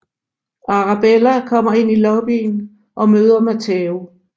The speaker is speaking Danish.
Arabella kommer ind i lobbyen og møder Matteo